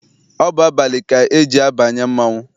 Ọ bụ abalị ka eji abanye mmanwụ.